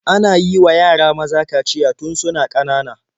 Ana yiwa yara maza kaciya tun suna ƙanana.